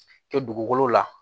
Kɛ dugukolo la